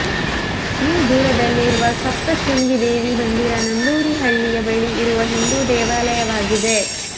me ದೂರದಲ್ಲಿರುವ ಸಪ್ತಶೃಂಗಿ ದೇವಿ ಮಂದಿರ ನಂದೂರಿ ಹಳ್ಳಿಯ ಬಳಿ ಇರುವ ಹಿಂದೂ ದೇವಾಲಯವಾಗಿದೆ